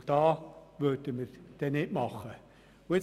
Dabei machen wir nicht mit.